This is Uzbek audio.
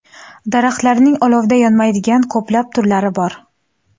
Daraxtlarning olovda yonmaydigan ko‘plab turlari bor.